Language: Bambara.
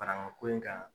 Farakan ko in kan